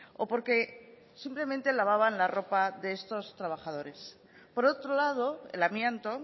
o porque simplemente lavaban la ropa de estos trabajadores por otro lado el amianto